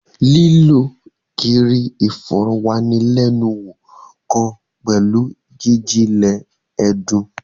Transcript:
Lílo kíri ìfòròwánilénuwò kàn pẹlu jijinlẹ ẹdun.